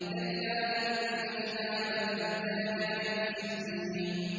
كَلَّا إِنَّ كِتَابَ الْفُجَّارِ لَفِي سِجِّينٍ